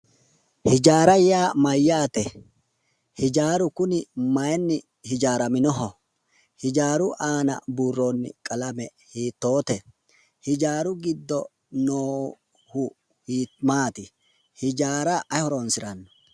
Hijaara yaa mayyaate? hijaaru kuni maayiinni hijaaraminoho? hijaaru aana buurroonni qalame hiitoote? hijaaru giddo noohu maati? hijaara ayi horonsiranno?